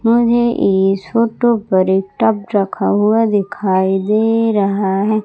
मुझे इस फोटो पर एक टब रखा हुआ दिखाई दे रहा है।